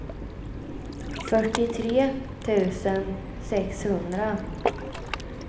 fyrtiotre tusen sexhundra